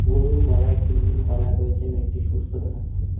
গরুর গলায় একটি নীল কলার রয়েচে এবং একটি সুস্থ দেখাচ্ছে।